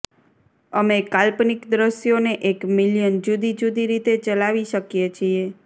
અમે કાલ્પનિક દૃશ્યોને એક મિલિયન જુદી જુદી રીતે ચલાવી શકીએ છીએ